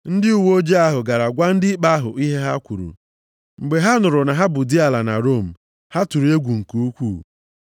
Ndị uweojii ahụ gara gwa ndị ikpe ahụ ihe ha kwuru. Mgbe ha nụrụ na ha bụ diala na Rom, ha tụrụ egwu nke ukwuu.